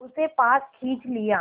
उसे पास खींच लिया